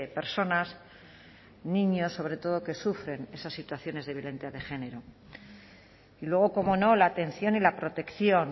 personas niños sobre todo que sufren esas situaciones de violencia de género y luego cómo no la atención y la protección